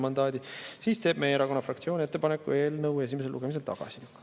Seetõttu teeb meie erakonna fraktsioon ettepaneku eelnõu esimesel lugemisel tagasi lükata.